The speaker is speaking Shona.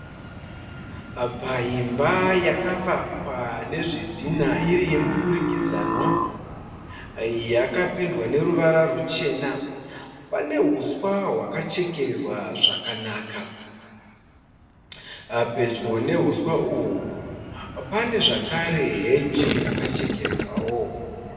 Paimba yakavakwa nezvidhinha iri yemudurikidzanwa. Yakapendwa neruwara ruchena. Pane huswa hwakachekererwa zvakanaka. Pedyo nehuswa uhwu pane zvakare heji yakachekererwa.